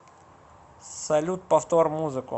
салют повтор музыку